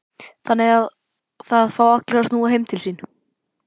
Þannig að það fá allir að snúa heim til sín?